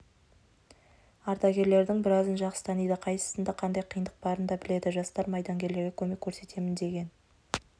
ардагерлердің біразын жақсы таниды қайсысында қандай қиындық барын да біледі жастар майдангерлерге көмек көрсетемін деген